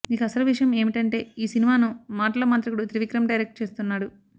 ఇక అసలు విషయం ఏమిటంటే ఈ సినిమాను మాటల మాంత్రికుడు త్రివిక్రమ్ డైరెక్ట్ చేస్తున్నాడు